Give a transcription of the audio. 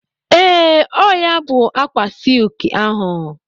Ee, ọ ya bụ ákwà silki ahụ.